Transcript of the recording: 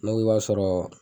Ne ko k'i b'a sɔrɔ